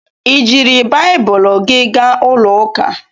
I jiiri Baịbụl gị gaa ụlọ ụka?